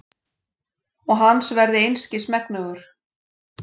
Og hans verði einskis megnugur.